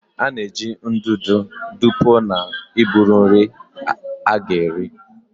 A na-eji ndụdụ dụpuo na iburu nri a ga-eri.